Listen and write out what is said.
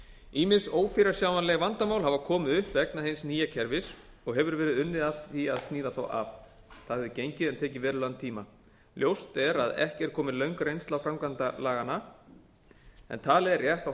ýmis ófyrirsjáanleg vandamál hafa komið upp vegna hins nýja kerfis og hefur verið unnið að því að sníða þau af það hefur gengið en tekið verulegan tíma ljóst er að ekki er komin löng reynsla af framkvæmd laganna talið er rétt að